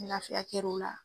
Ni lafiya kɛro la.